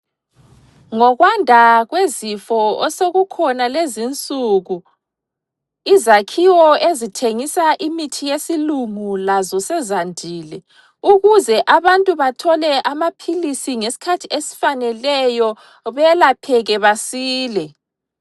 Ngokwanda kwezifo osokukhona lezinsuku, izakhiwo ezithengisa imithi yesilungu lazo sezandile ukuze abantu bathole amaphilisi ngesikhathi esifaneleyo belapheke basile.